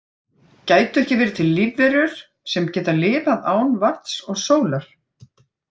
Gætu ekki verið til lífverur sem geta lifað án vatns og sólar?